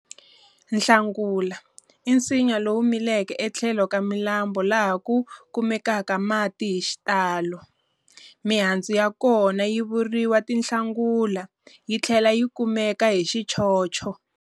Nhlangula i nsinya lowu milaka etlhelo ka milambu laha ku kumekaka mati hixitalo. Mihandzu ya kona yi vuriwa tinhlangula yi tlhela yi kumeka hi xichocho.